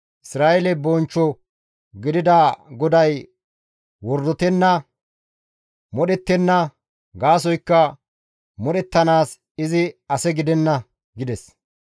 Isra7eele bonchcho gidida GODAY wordotenna; modhettenna; gaasoykka modhettanaas izi ase gidenna» gides.